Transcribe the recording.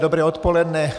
Dobré odpoledne.